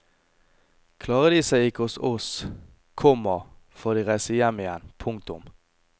Klarer de seg ikke hos oss, komma får de reise hjem igjen. punktum